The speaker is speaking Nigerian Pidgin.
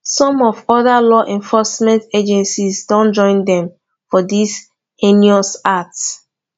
some of oda law enforcement agencies don join dem for dis heinous act